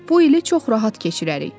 Bu ili çox rahat keçirərik.